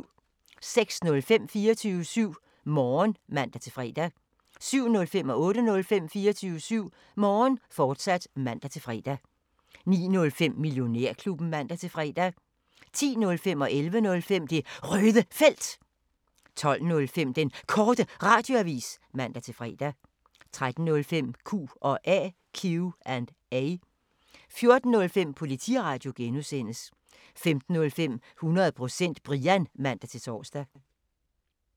06:05: 24syv Morgen (man-fre) 07:05: 24syv Morgen, fortsat (man-fre) 08:05: 24syv Morgen, fortsat (man-fre) 09:05: Millionærklubben (man-fre) 10:05: Det Røde Felt 11:05: Det Røde Felt, fortsat 12:05: Den Korte Radioavis (man-fre) 13:05: Q&A 14:05: Politiradio (G) 15:05: 100% Brian (man-tor)